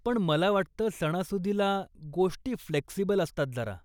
पण मला वाटतं सणासुदीला, गोष्टी फ्लेक्सिबल असतात जरा.